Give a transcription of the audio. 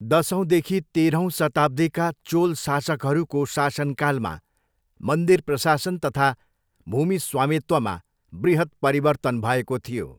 दसौँदेखि तेह्रौँ शताब्दीका चोल शासकहरूको शासनकालमा मन्दिर प्रशासन तथा भूमि स्वामित्वमा बृहत् परिवर्तन भएको थियो।